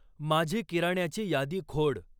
माझी किराण्याची यादी खोड.